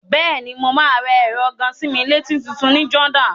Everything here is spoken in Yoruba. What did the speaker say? Bẹ́ẹ̀ni, mo máa ra ẹ̀rọ gàa-sí-mí-létí tutun ní Jordan.